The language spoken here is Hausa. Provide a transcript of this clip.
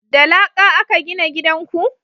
da laƙa a ka gina gidan ku?